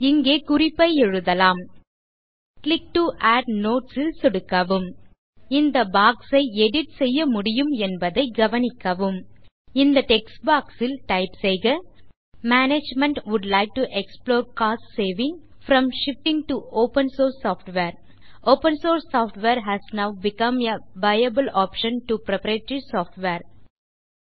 இங்கே குறிப்பை எழுதலாம் கிளிக் டோ ஆட் நோட்ஸ் ல் சொடுக்கவும் இந்த பாக்ஸ் ஐ எடிட் செய்யமுடியும் என்பதை கவனிக்கவும் இந்த டெக்ஸ்ட் பாக்ஸ் ல் டைப் செய்க management would like to explore cost saving from shifting to open source software open source software has now become a viable option to proprietary software